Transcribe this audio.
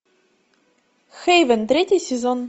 хейвен третий сезон